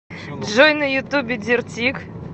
джой на ютубе дир тик